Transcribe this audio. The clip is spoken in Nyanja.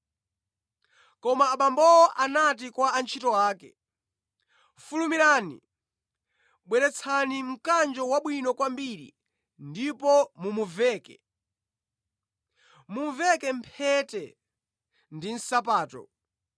“Koma abambowo anati kwa antchito ake, ‘Fulumirani! Bweretsani mkanjo wabwino kwambiri ndipo mumuveke. Muvekeni mphete ndi nsapato.